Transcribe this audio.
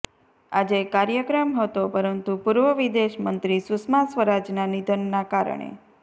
આજે કાર્યક્રમ હતો પરંતુ પુર્વ વિદેશમંત્રી સુષ્મા સ્વરાજના નિધનના કારણે